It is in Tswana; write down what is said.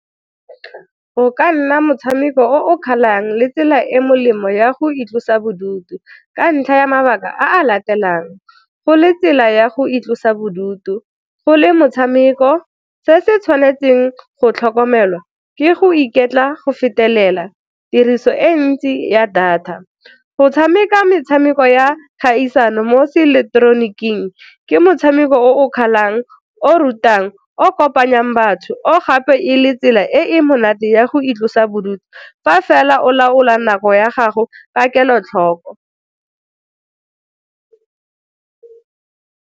Go ka nna motshameko o o kgalang le tsela e e molemo ya go itlosa bodutu ka ntlha ya mabaka a a latelang, go le tsela ya go itlosa bodutu, go le motshameko, Se se tshwanetseng go tlhokomelwa ke go iketla go fetelela, tiriso e ntsi ya data. Go tshameka metshameko ya kgaisano mo seeleketeroniking ke motshameko o o kgalang, o o rutang, o kopanyang batho o gape e le tsela e e monate ya go itlosa bodutu fa fela o laola nako ya gago ka kelotlhoko.